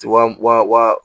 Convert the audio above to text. Wa wa